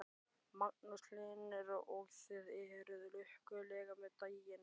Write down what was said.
Magnús Hlynur: Og þið eruð lukkuleg með daginn?